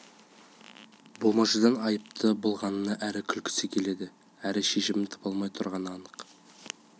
болмашыдан айыпты болғанына әрі күлкісі келеді әрі шешімін таба алмай тұрғаны анық